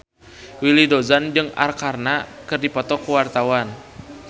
Willy Dozan jeung Arkarna keur dipoto ku wartawan